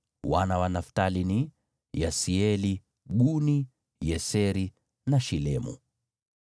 Wana wa Naftali ni: Yaseeli, Guni, Yeseri na Shilemu.